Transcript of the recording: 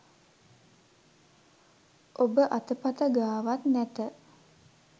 ඔබ අතපත ගාවත් නැත